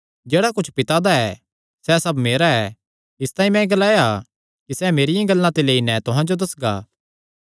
जेह्ड़ा कुच्छ पिता दा ऐ सैह़ सब मेरा ऐ इसतांई मैं ग्लाया कि सैह़ मेरियां गल्लां ते लेई नैं तुहां जो दस्सगा